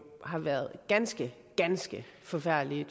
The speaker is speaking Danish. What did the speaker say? har været ganske ganske forfærdelige